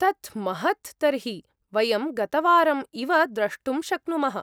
तत् महत् तर्हि, वयं गतवारम् इव द्रष्टुं शक्नुमः।